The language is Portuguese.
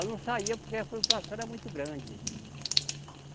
Eu não saía porque a flutuação era muito grande.